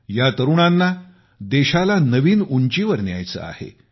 या तरुणांना देशाला नवीन उंचीवर न्यायचे आहे